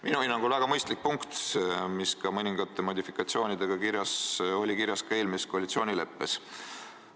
Minu hinnangul on see väga mõistlik punkt, mis mõningate modifikatsioonidega oli kirjas ka eelmises koalitsioonileppes.